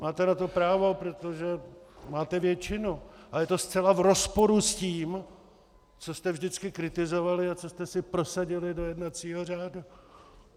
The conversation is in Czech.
Máte na to právo, protože máte většinu, ale je to zcela v rozporu s tím, co jste vždycky kritizovali a co jste si prosadili do jednacího řádu.